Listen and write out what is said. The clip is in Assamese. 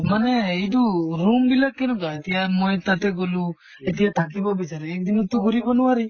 মানে এইট room বিলাক কেনেকুৱা এতিয়া মই তাতে গʼলো এতিয়া থাকিব বিচাঁৰো, এক দিনত তো ঘুৰিব নৱাৰি।